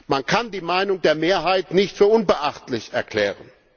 Man kann die Meinung der Mehrheit nicht für unbeachtlich erklären.